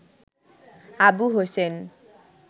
Abu Hossain